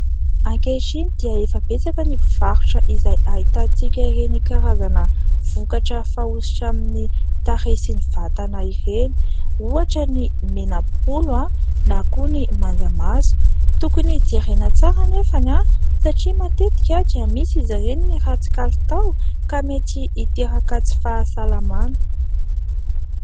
Ankehitriny dia efa betsaka ny mpivarotra izay ahitantsika ireny karazana vokatra fanosotra amin'ny tarehy sy ny vatana ireny. Ohatra ny mena-bolo na koa ny manjamaso. Tokony jerena tsara nefa satria matetika dia misy izy ireny no ratsy kalitao ka mety hiteraka tsy fahasalamana.